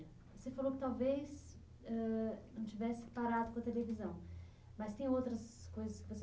Você falou que talvez ãh não tivesse parado com a televisão, mas tem outras coisas que você